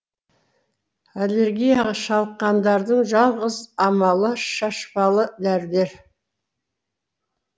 аллергияға шалыққандардың жалғыз амалы шашпалы дәрілер